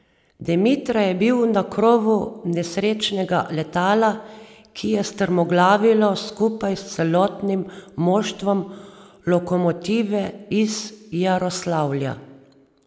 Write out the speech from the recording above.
Demitra je bil na krovu nesrečnega letala, ki je strmoglavilo skupaj s celotnim moštvom Lokomotive iz Jaroslavlja.